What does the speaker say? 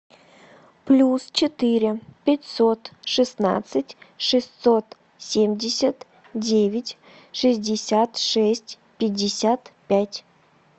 плюс четыре пятьсот шестнадцать шестьсот семьдесят девять шестьдесят шесть пятьдесят пять